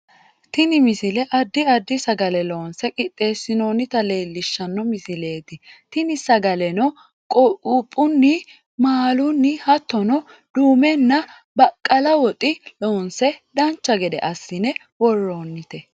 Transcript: tini misile addi addi sagale loonse qixxeessinoonnita leelishshanno misileeti tini sagaleno quuphunni maalunni hattono duumenna baqqala woxi loonse dancha gede assine worroonnite